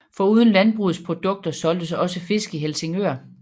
Foruden landbrugets produkter solgtes også fisk i Helsingør